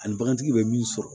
Ani bagantigi bɛ min sɔrɔ